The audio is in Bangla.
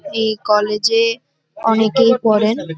এই কলেজ -এ অনেকেই পড়েন।